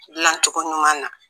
Dilancogo ɲuman na